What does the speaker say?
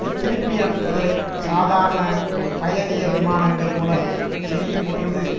இத்திருப்பியனுப்புதலைச் சாதாரண பயணியர் விமானங்கள் மூலம் செய்யும்பொழுது